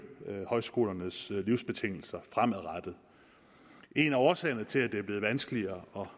højskolernes livsbetingelser fremadrettet en af årsagerne til at det er blevet vanskeligere